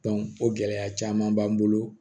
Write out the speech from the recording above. o gɛlɛya caman b'an bolo